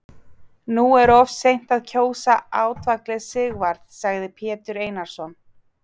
Nú er of seint að kjósa átvaglið Sigvarð, sagði Pétur Einarsson.